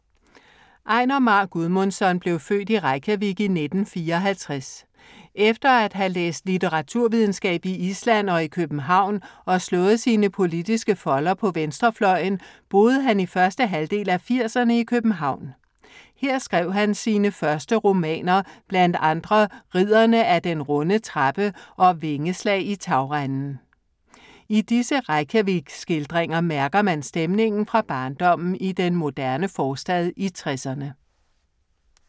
Einar Már Guðmundsson blev født i Reykjavik i 1954. Efter at have læst litteraturvidenskab i Island og i København og slået sine politiske folder på venstrefløjen, boede han i første halvdel af firserne i København. Her skrev han sine første romaner, blandt andre Ridderne af den runde trappe og Vingeslag i tagrenden. I disse Reykjavik-skildringer mærker man stemningerne fra barndommen i den moderne forstad i 60'erne.